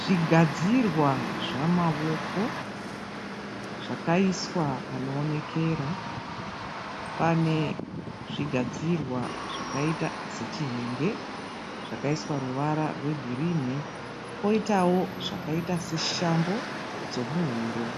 Zvigadzirwa zvamaoko zvakaiswa panoonekera. Pane zvigadzirwa zvakaita sechihenge zvakaiswa ruvara rwegirini . Poitawo zvakaita seshambo dzomuhuro,